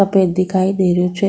सफ़ेद दिखाई दे रिहो छे।